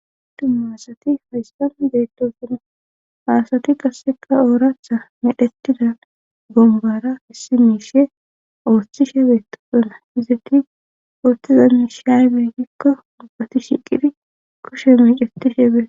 u masati hayssan deettosuna haasati qasseka ooraatha medhetida gombara issi miishe ooththishe beettosona hizetti ooththiza miishiaymeegikko mubbati shiqifi koshe mecetishe beee.